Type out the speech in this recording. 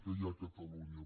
que hi ha a catalunya